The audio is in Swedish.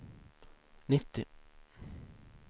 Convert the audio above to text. nittio